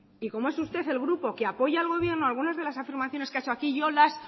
y como es usted del grupo que apoya al gobierno algunas de las afirmaciones que ha hecho aquí yo las